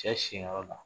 Cɛ si yɔrɔ la